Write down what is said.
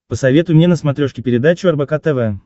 посоветуй мне на смотрешке передачу рбк тв